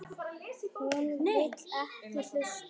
Hún vill ekki hlusta.